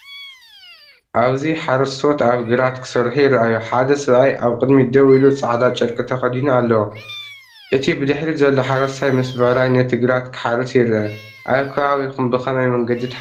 ኣብዚ ሓረስቶት ኣብ ግራት ክሰርሑ ይረኣዩ። ሓደ ሰብኣይ ኣብ ቅድሚት ደው ኢሉ ጻዕዳ ጨርቂ ( ተኸዲኑ ኣለዎ። እቲ ብድሕሪት ዘሎ ሓረስታይ ምስ ብዕራይ ነቲ ግራት ክሓርስ ይርአ። ኣብ ከባቢኩም ብከመይ መንገዲ ትሓርሱ?